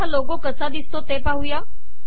आता हा लोगो कसा दिसतो ते पाहू